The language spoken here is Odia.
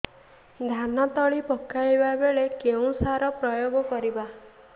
ଧାନ ତଳି ପକାଇବା ବେଳେ କେଉଁ ସାର ପ୍ରୟୋଗ କରିବା